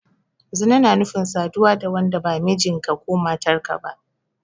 Zina na nufin saduwa da wanda ba mijinka/matarka ba.